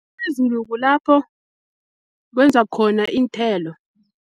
kulapho kwenzwa khona iinthelo.